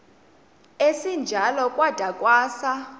esinjalo kwada kwasa